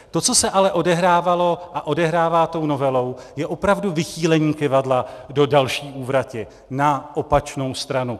To, co se ale odehrávalo a odehrává tou novelou, je opravdu vychýlení kyvadla do další úvrati, na opačnou stranu.